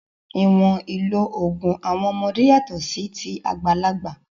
Ìwọ̀n ìlò òògùn àwọn ọmọdé yàtọ̀ sí ti àgbàlagbà.